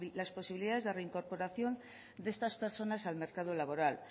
las posibilidades de reincorporación de estas personas al mercado laboral